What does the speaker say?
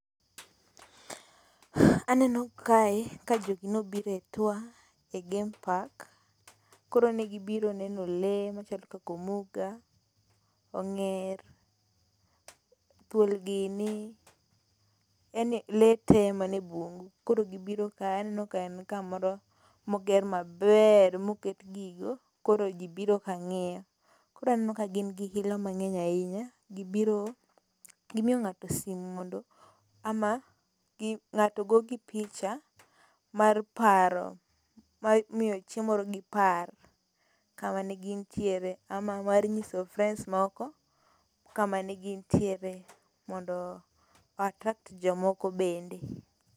Aneno kae ka jogi ne obiro e tour e game park, koro ne gibiro neno lee machalo kaka omuga, ong’er, thuol gini, yaani lee tee manie bungu. Koro gibiro ka aneno ka en kamoro ma oger maber moket gigo koro jii biro ka ng’iyo. koro aneno ka gin gi hilo mangeny ahinya ,gibiro gimoyo ng’ato simu ama ng’ato gogi picha mar paro mar miyo chieng moro gipar kama ne gintie ama mar nyiso friends moko kama ne gintie mondo o attract jomoko bende